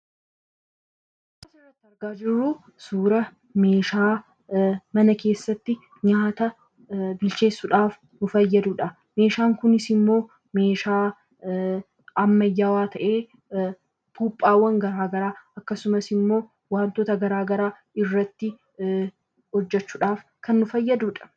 Kan agarru suuraa meeshaa mana keessatti nyaata bilcheessuudhaaf nu fayyadudha. Meeshaan kunis immoo meeshaa ammayyaawaa ta'ee buuphaawwan garaagaraa wantoota garaagaraa irratti hojjachuudhaaf kan gargaarudha.